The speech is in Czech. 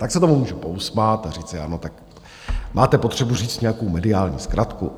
Tak se tomu můžu pousmát a říci ano, tak máte potřebu říct nějakou mediální zkratku.